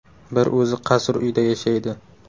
Bir o‘zi qasr uyda yashaydi.